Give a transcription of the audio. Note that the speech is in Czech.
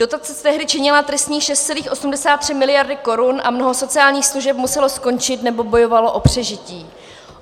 Dotace tehdy činila tristních 6,83 miliardy korun a mnoho sociálních služeb muselo skončit nebo bojovalo o přežití.